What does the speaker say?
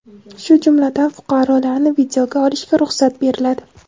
shu jumladan fuqarolarni videoga olishga ruxsat beriladi.